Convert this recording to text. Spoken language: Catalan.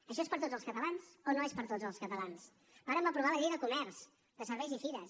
això és per a tots els catalans o no és per a tots els catalans vàrem aprovar la llei de comerç de serveis i fires